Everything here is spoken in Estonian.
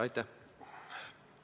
Aitäh!